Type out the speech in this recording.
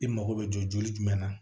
I mago bɛ jɔ joli jumɛn na